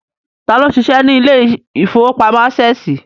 Tá ló ń ṣiṣẹ́ ní ilé ìfowópamọ́ Ásẹ̀sì?